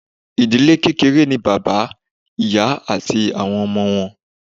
idile kekere ni baba, iya ati awọn ọmọ wọn